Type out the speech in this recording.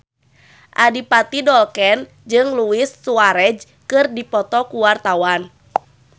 Adipati Dolken jeung Luis Suarez keur dipoto ku wartawan